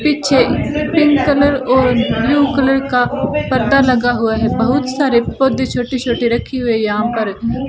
पीछे pink colour और blue colour का पर्दा लगा हुआ है बहुत सारे पौधे छोटे छोटे रखे हुए हैं यहां पर --